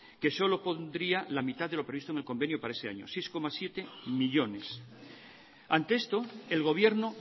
que solo pondría la mitad de lo previsto en el convenio para ese año seis coma siete millónes ante esto el gobierno